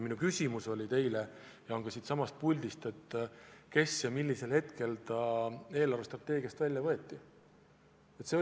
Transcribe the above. Minu küsimus teile oli ja on ka siinsamas puldis järgmine: kes selle projekti eelarvestrateegiast välja võttis ja millal seda tehti?